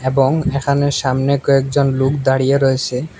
এবং এখানে সামনে কয়েকজন লোক দাঁড়িয়ে রয়েসে।